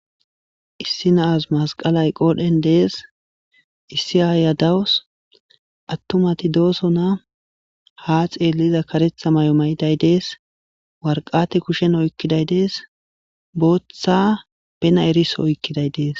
Issi nazi mesqely des issi ayiya dawus atumati dosona ha xeliza karetha mayo mayida des waraqata kushen oykiday des Botha bens eriso oykiday des